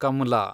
Kamla